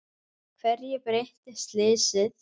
Hverju breytti slysið?